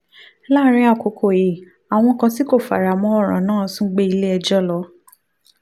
láàárín àkókò yìí àwọn kan tí kò fara mọ́ ọ̀ràn náà tún gbé ilé ẹjọ́ lọ